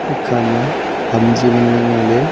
ekha ma ham chu ngan ley ngo ley.